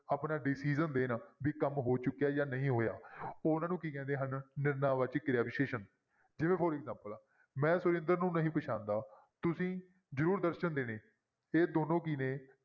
ਆਪਣਾ decision ਦੇਣ ਵੀ ਕੰਮ ਹੋ ਚੁੱਕਿਆ ਹੈ ਜਾਂ ਨਹੀਂ ਹੋਇਆ ਉਹਨਾਂ ਨੂੰ ਕੀ ਕਹਿੰਦੇ ਹਨ ਨਿਰਣੈ ਵਾਚਕ ਕਿਰਿਆ ਵਿਸ਼ੇਸ਼ਣ ਜਿਵੇਂ for example ਆ ਮੈਂ ਸੁਰਿੰਦਰ ਨੂੰ ਨਹੀਂ ਪਛਾਣਦਾ ਤੁਸੀਂ ਜ਼ਰੂਰ ਦਰਸਨ ਦੇਣੇ ਇਹ ਦੋਨੋਂ ਕੀ ਨੇ?